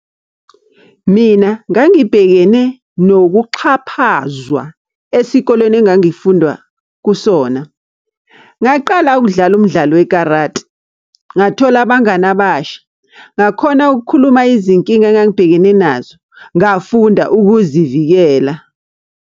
Mina ngangibhekene nokuxhaphazwa esikolweni engangifunda kusona. Ngaqala ukudlala umdlalo wekarati. Ngathola abangani abasha. Ngakhona ukukhuluma izinkinga engangibhekene nazo. Ngafunda ukuzivikela.